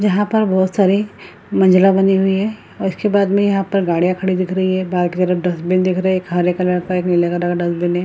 जहां पर बहुत सारे मंजिला बने हुए है और उसके बाद मे यहाँ पर गड़िया खड़ी हुई दिख रही है बाहर की तरह एक डस्टबिन दिख रही है एक हरे कलर का एक नीले कलर का डस्टबिन है।